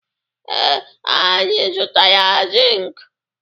Ee, anyị zụtara zink?